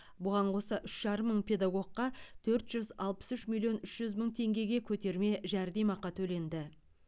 бұған қоса үш жарым мың педагогқа төрт жүз алпыс үш миллион үш жүз мың теңгеге көтерме жәрдемақы төленді